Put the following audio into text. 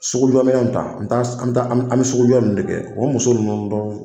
Sugujɔminɛnw ta an bɛ sugujɔ ninnu de kɛ o muso ninnu